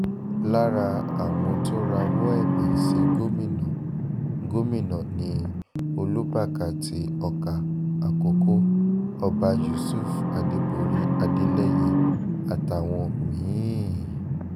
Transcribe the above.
lára àwọn tó rawọ́ ẹ̀bẹ̀ sí gómìnà gómìnà ni olùbákà ti ọkà àkọ́kọ́ ọba yusuf adéborí adélẹyé àtàwọn mí-ín